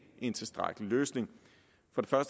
en tilstrækkelig løsning jeg